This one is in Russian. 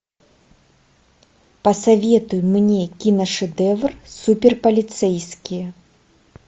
посоветуй мне киношедевр суперполицейские